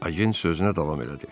Agent sözünə davam elədi.